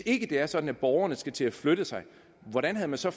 ikke er sådan at borgerne skal til at flytte sig hvordan har man så